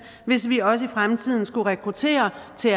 hvis vi også i fremtiden skal kunne rekruttere til